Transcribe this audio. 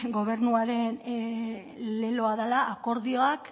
gobernuaren leloa dela akordioak